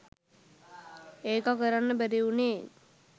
ඒක කරන්න බැරි වුනේ